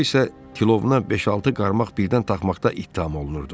O isə kilona beş-altı qarmaq birdən taxmaqda ittiham olunurdu.